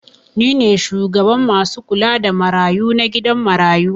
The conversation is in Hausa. Ni ne shugaban masu kula da marayu na gidan marayu.